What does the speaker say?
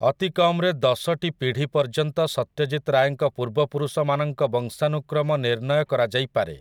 ଅତିକମ୍‌ରେ ଦଶଟି ପିଢ଼ି ପର୍ଯ୍ୟନ୍ତ ସତ୍ୟଜିତ୍ ରାୟଙ୍କ ପୂର୍ବପୁରୁଷମାନଙ୍କ ବଂଶାନୁକ୍ରମ ନିର୍ଣ୍ଣୟ କରାଯାଇପାରେ ।